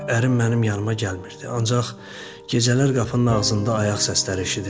Ərim mənim yanımaq gəlmirdi, ancaq gecələr qapının ağzında ayaq səsləri eşidirdim.